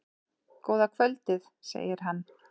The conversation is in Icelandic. Góða kvöldið, segir hann.